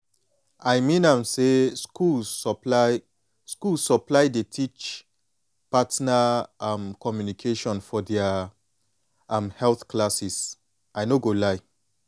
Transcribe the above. i mean am say schools supply schools supply dey teach partner um communication for their um health classes i no go lie